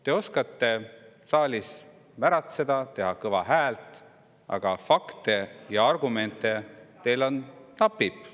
Te oskate saalis märatseda, teha kõva häält, aga fakte ja argumente teil napib.